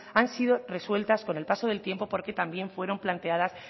han sido resueltas con el paso del tiempo porque también fueron planteadas